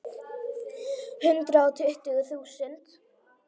Hundrað og tuttugu þúsund.